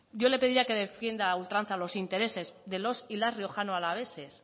yo le pediría que defienda a ultranza los intereses de los y las riojanoalaveses